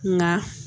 Nka